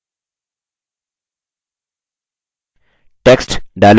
the square is a quadrilateral प्रविष्ट करें